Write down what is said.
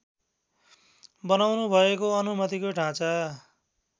बनाउनुभएको अनुमतिको ढाँचा